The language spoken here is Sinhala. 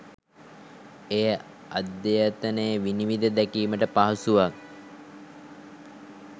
එය අද්‍යතනය විනිවිද දැකීමට පහසුවක්